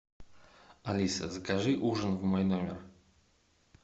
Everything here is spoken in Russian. алиса закажи ужин в мой номер